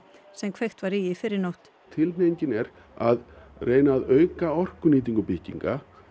sem kveikt var í í í fyrrinótt tilhneiging er að reyna að auka orkunýtingu bygginga